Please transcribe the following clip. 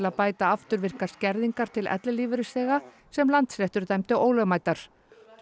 að bæta afturvirkar skerðingar til ellilífeyrisþega sem Landsréttur dæmdi ólögmætar